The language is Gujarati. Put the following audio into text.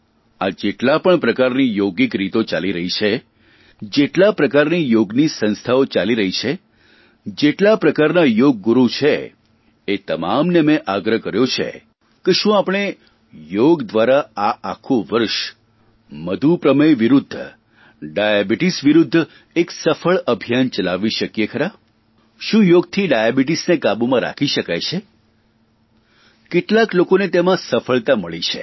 આ જેટલા પણ પ્રકારની યોગિક રીતો ચાલી રહી છે જેટલા પ્રકારની યોગની સંસ્થાઓ ચાલી રહી છે જેટલા પ્રકારના યોગ ગુરુ છે એ તમામને મેં આગ્રહ કર્યો છે કે શું આપણે યોગ દ્વારા આ આખું વર્ષ મધુપ્રમેહ વિરૂદ્ધ ડાયાબિટીસ વિરૂદ્ધ એક સફળ અભિયાન ચલાવી શકીએ ખરા શું યોગથી ડાયાબીટીસને કાબૂમાં રાખી શકાય છે કેટલાક લોકોને તેમાં સફળતા મળી છે